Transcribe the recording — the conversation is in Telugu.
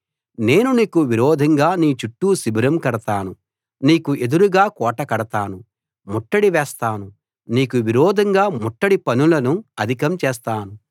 నేను నీకు విరోధంగా నీ చుట్టూ శిబిరం కడతాను నీకు ఎదురుగా కోట కడతాను ముట్టడి వేస్తాను నీకు విరోధంగా ముట్టడి పనులను అధికం చేస్తాను